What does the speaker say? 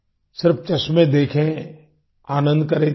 सिर्फ चश्मे देखें आनंद करें इतना नहीं